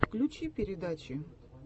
включи передачи